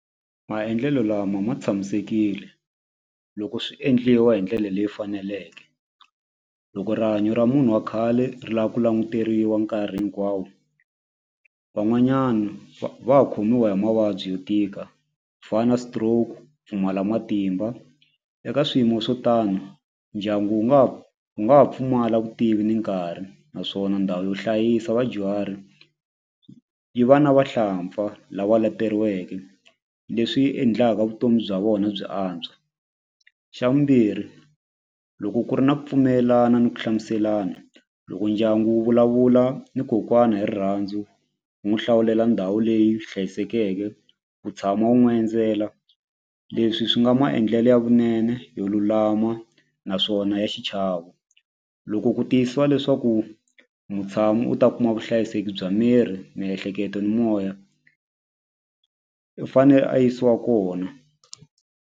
Maendlelo lama ma tshamisekile loko swi endliwa hi ndlele leyi faneleke loko rihanyo ra munhu wa khale ri la ku languteriwa nkarhi hinkwawo van'wanyana va khomiwa hi mavabyi yo tika fana stroke pfumala matimba eka swiyimo swo tano ndyangu wu nga wu nga ha pfumala vutivi ni nkarhi naswona ndhawu yo hlayisa vadyuhari yi va na vahlampfa lava leteriweke leswi endlaka vutomi bya vona byi antswa xa vumbirhi loko ku ri na ku pfumelelana ni ku hlamuselana loko ndyangu wu vulavula ni kokwana hi rirhandzu ku n'wi hlawulela ndhawu leyi hlayisekeke ku tshama wu n'wi endzela leswi swi nga maendlele ya vunene yo lulama naswona ya xichavo loko ku tiyisiwa leswaku mutshami u ta kuma vuhlayiseki bya miri miehleketo ni moya i fanele a yisiwa kona.